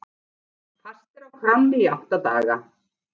Fastir á kránni í átta daga